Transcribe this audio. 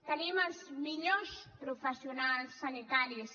tenim els millors professionals sanitaris